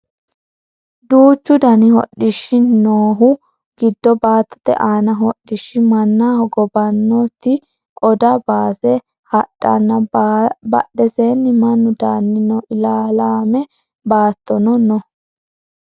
duuchu dani hodhishshi noohu giddo baattote aani hodhishshi manna hogobbannoti oda baase hadhanna badheseenni mannu daanni no ilaalaame baattono no